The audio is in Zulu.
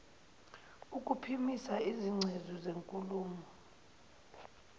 ukuphimisa izingcezu zenkulumo